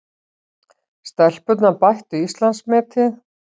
Stelpurnar bættu Íslandsmetið